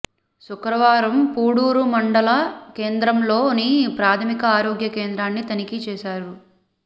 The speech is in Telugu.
శుక్రవారం పూడూరు మండల కేంద్రంలోని ప్రాథమిక ఆరోగ్య కేంద్రాన్ని తనిఖీ చేశారు